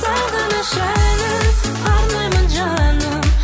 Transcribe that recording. сағыныш әнін арнаймын жаным